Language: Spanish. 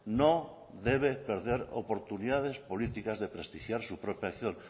no debe perder oportunidades políticas de prestigiar su propia acción